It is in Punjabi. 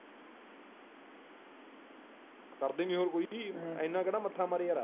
ਕਰਦੇ ਨੀ ਹੋਰ ਕੋਈ ਇੰਨਾ ਕਿਹੜਾ ਮੱਥਾ ਮਾਰੇ ਯਾਰ।